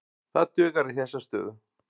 Það dugar í þessa stöðu.